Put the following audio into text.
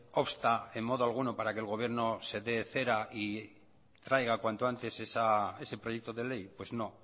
obsta en modo alguno para que el gobierno se dé cera y traiga cuanto antes ese proyecto de ley pues no